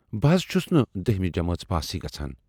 بہٕ حَض چھُس نہٕ دٔہمہِ جمٲژ پاسٕے گَژھان۔